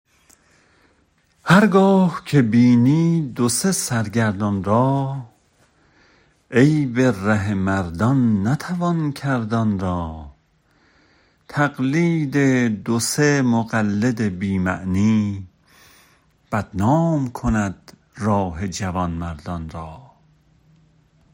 هر گاه که بینی دو سه سرگردان را عیب ره مردان نتوان کرد آن را تقلید دو سه مقلد بی معنی بدنام کند راه جوانمردان را